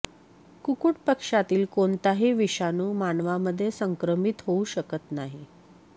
कुकुट पक्ष्यातील कोणताही विषाणू मानवामध्ये संक्रमित होऊ शकत नाही